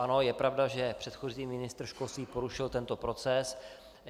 Ano je pravda, že předchozí ministr školství porušil tento proces.